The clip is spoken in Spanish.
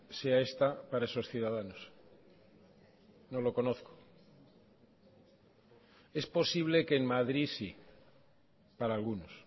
sea esta para esos ciudadanos no lo conozco es posible que en madrid sí para algunos